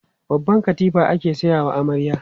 Babban katifa ake sayawa amarya.